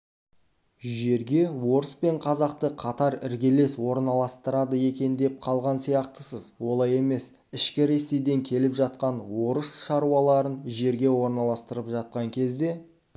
жерге орыс пен қазақты қатар іргелес орналастырады екен деп қалған сияқтысыз олай емес ішкі ресейден келіп жатқан орыс шаруаларын жерге орналастырып жатқан кезде